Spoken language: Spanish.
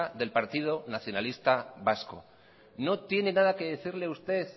del partido nacionalista vasco no tiene nada que decirle usted